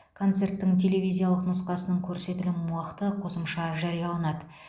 концерттің телевизиялық нұсқасының көрсетілім уақыты қосымша жарияланады